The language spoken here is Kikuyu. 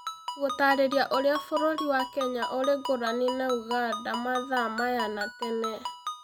gũtaarĩria ũrĩa bũrũri wa Kenya ũrĩ ngũrani na Uganda mathaa maya na tene